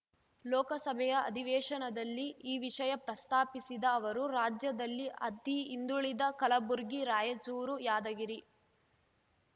ಲೋಕಸಭೆಯ ಅಧಿವೇಶನದಲ್ಲಿ ಈ ವಿಷಯ ಪ್ರಸ್ತಾಪಿಸಿದ ಅವರು ರಾಜ್ಯದಲ್ಲಿ ಅತಿ ಹಿಂದುಳಿದ ಕಲಬುರ್ಗಿ ರಾಯಚೂರು ಯಾದಗಿರಿ